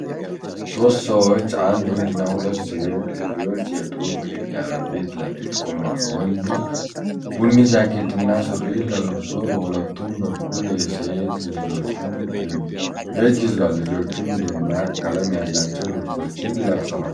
ሶስት ሰዎች፣ አንድ ወንድ እና ሁለት ሴት ልጆች የጡብ ግድግዳ ፊት ለፊት ቆመዋል። ወንዱ ቡኒ ጃኬት እና ሱሪ ለብሶ በሁለቱም በኩል የሴት ልጆቹን እጅ ይዟል። ልጆቹም ደማቅ ቀለም ያላቸው ልብሶችን ለብሰዋል።